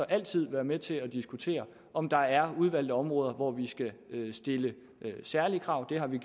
altid være med til at diskutere om der er udvalgte områder hvor vi skal stille særlige krav det har vi